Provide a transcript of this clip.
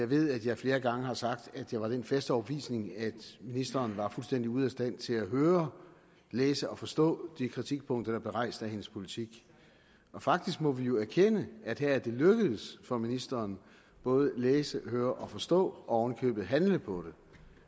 ved at jeg flere gange har sagt at jeg var af den faste overbevisning at ministeren var fuldstændig ude af stand til at høre læse og forstå de kritikpunkter der rejst af hendes politik og faktisk må vi jo erkende at her er det lykkedes for ministeren både at læse og forstå og i købet handle på det